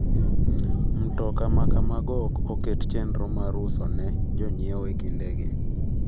‘Mtoka ma kamago ok oket chenro mar uso ne jonyiewo e kindegi.